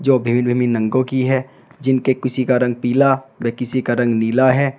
जो विभिन्न विभिन्न रंगों की हैं जिनके किसी का रंग पीला व किसी का रंग नीला है।